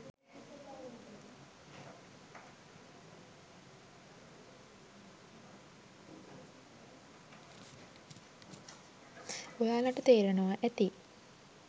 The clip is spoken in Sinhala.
ඔයාලට තේරෙනවා ඇති.